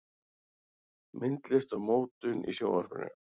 Myndlist og mótun í Sjónvarpinu